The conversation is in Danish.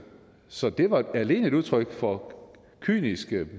så det var alene et udtryk for kyniske